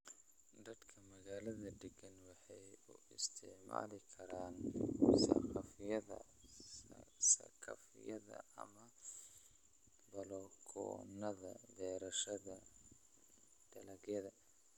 Dadka magaalada deggan waxay u isticmaali karaan saqafyada saqafyada ama balakoonnada beerashada dalagyada.